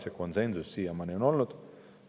See konsensus on siiamaani olnud.